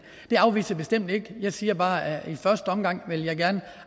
det afviser jeg bestemt ikke jeg siger bare at i første omgang vil jeg gerne